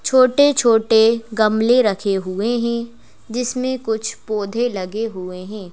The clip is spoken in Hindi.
छोटे-छोटे गमले रखे हुए हैं जिसमें कुछ पौधे लगे हुए हैं।